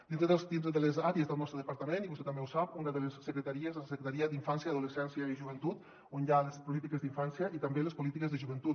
dintre de les àrees del nostre departament i vostè també ho sap una de les secretaries és la secretaria d’infància adolescència i joventut on hi ha les polítiques d’infància i també les polítiques de joventut